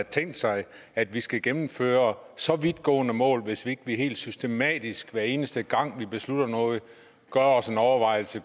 tænkt sig at vi skal gennemføre så vidtgående mål hvis vi ikke helt systematisk hver eneste gang vi beslutter noget gør os en overvejelse